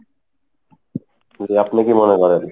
কী আপনি কী মনে করেন?